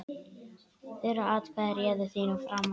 Þeirra atkvæði réðu þínum frama.